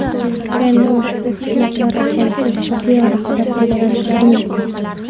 Endi ushbu qishloqlar aholisi sifatli aloqadan foydalanishlari mumkin.